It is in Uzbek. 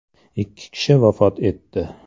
Ikki kishi vafot etdi.